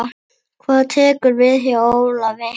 Hvað tekur við hjá Ólafi?